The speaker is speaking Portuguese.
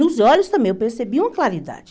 Nos olhos também eu percebi uma claridade.